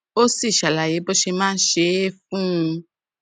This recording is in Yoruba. ó sì ṣàlàyé bó ṣe máa ń ṣe é fún un